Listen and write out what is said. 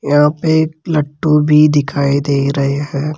यहां पे एक लट्टू भी दिखाई दे रहे हैं।